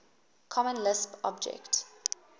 common lisp object